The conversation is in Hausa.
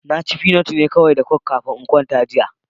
Na ci fi na nama da coke ne kawai kafin na kwanta jiya.